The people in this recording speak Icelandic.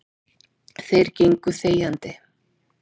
Þeir gengu þegjandi.